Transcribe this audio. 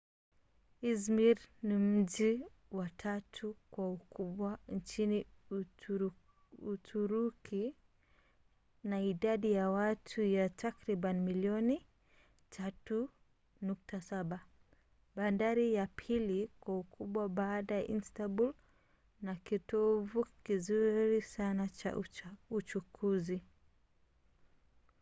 izmir ni mji wa tatu kwa ukubwa nchini uturuki na idadi ya watu ya takribani milioni 3.7 bandari ya pili kwa ukubwa baada ya istanbul na kitovu kizuri sana cha uchukuzi